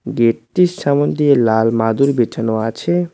গেটটির সামন দিয়ে লাল মাদুর বিছানো আছে।